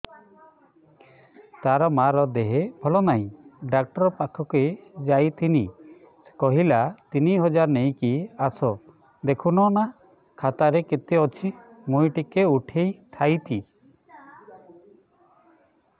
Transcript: ତାର ମାର ଦେହେ ଭଲ ନାଇଁ ଡାକ୍ତର ପଖକେ ଯାଈଥିନି କହିଲା ତିନ ହଜାର ନେଇକି ଆସ ଦେଖୁନ ନା ଖାତାରେ କେତେ ଅଛି ମୁଇଁ ଟିକେ ଉଠେଇ ଥାଇତି